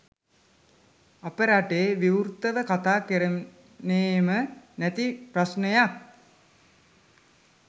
අපේ රටේ විවුර්තව කතා කෙරෙන්නෙම නැති ප්‍රශ්නයක්.